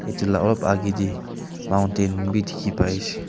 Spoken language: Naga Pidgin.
etu la olop agey tey mountain bi dikhi pai ase.